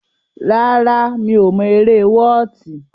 Rárá, mi ò mọ eré wọ́ọ̀tì.